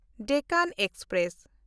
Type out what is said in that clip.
Deccan express